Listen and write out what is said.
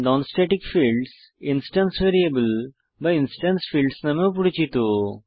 non static fields instance variable বা instance fields নামেও পরিচিত